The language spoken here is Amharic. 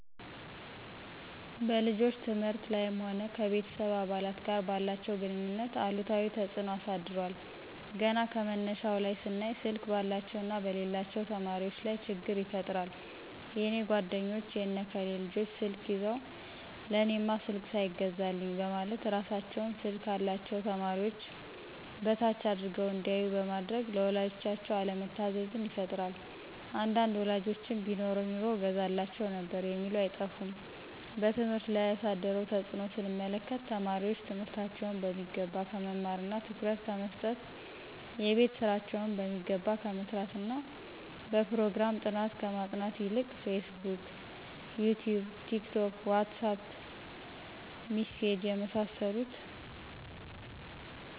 በልጆች ትምህርት ላይም ሆነ ከቤተሰብ አባላት ጋር ባላቸው ግንኙነት አሉታዊ ተጽኖ አሳድሯል ገና ከመነሻው ላይ ስናይ ስልክ ባላቸውና በሌላቸው ተማሪወች ላይ ችግር ይፈጥራል የኔ ጓደኞች የነ ከሌ ልጆች ስልክ ይዘው ለእኔማ ስልክ ሳይገዛልኝ በማለት እራሳቸውን ስልክ ካላቸው ተማሪዎች በታች አድርገው እንዲያዮ በማድረግ ለወላጆቻቸው አለመታዘዝን ይፈጥራል አንዳንድ ወላጆችም ቢኖረኝ ኑሮ እገዛላቸው ነበር የሚሉ አይጠፉም። በትምህርት ላይ ያሳደረውን ተጽኖ ስንመለከት ተማሪወች ትምህርታቸውን በሚገባ ከመማርና ትኩረት ከመሰጠት :የቤት ስራቸውን በሚገባ ከመስራትና በጵሮግራም ጥናት ከማጥናት ይልቅ ፌስቡክ :ይቲዩብ :ቲክቶክ: ዋትሳጵ: ሚሴጅ የመሳሰሉት